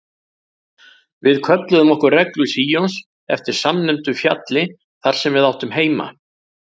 Við kölluðum okkur Reglu Síons eftir samnefndu fjalli þar sem við áttum heima.